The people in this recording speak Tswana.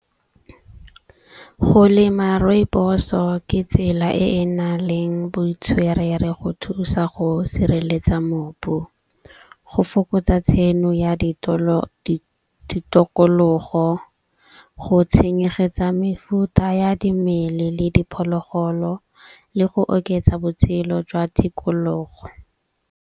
Go lema rooibos-o ke tsela e e na leng botswerere go thusa go sireletsa mobu. Go fokotsa tsheno ya ditokologo go tshenyegetsa mefuta ya dimele le diphologolo le go oketsa botshelo jwa tikologo.